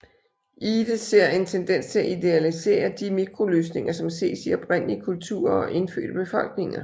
Ihde ser en tendens til at idealisere de mikroløsninger som ses i oprindelige kulturer og indfødte befolkninger